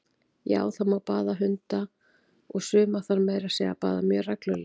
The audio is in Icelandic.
Já, það má baða hunda, og suma þarf meira að segja að baða mjög reglulega!